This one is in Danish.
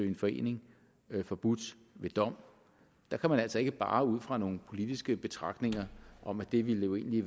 en forening forbudt ved dom der kan man altså ikke bare ud fra nogen politiske betragtninger om at det jo egentlig